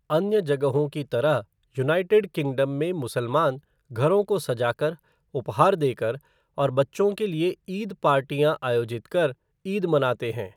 अन्य जगहों की तरह, यूनाइटेड किंगडम में मुसलमान, घरों को सजा कर, उपहार देकर और बच्चों के लिए ईद पार्टियाँ आयोजित कर, ईद मनाते हैं।